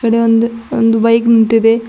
ಇದೆ ಒಂದ್ ಒಂದು ಬೈಕ್ ನಿಂತಿದೆ.